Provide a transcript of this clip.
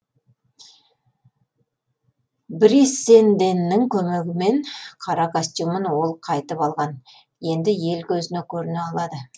бриссенденнің көмегімен қара костюмін ол қайтып алған енді ел көзіне көріне алады